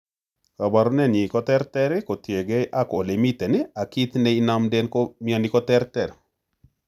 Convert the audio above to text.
Koporunenyin ko ter ter kotienge ag ole imiten ag kit ne nenomnden mioni koterter.